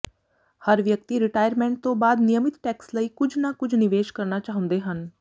ਹਰ ਵਿਅਕਤੀ ਰਿਟਾਇਰਮੈਂਟ ਤੋਂ ਬਾਅਦ ਨਿਯਮਿਤ ਟੈਕਸ ਲਈ ਕੁਝ ਨਾ ਕੁਝ ਨਿਵੇਸ਼ ਕਰਨਾ ਚਾਹੁੰਦੇ ਹਨ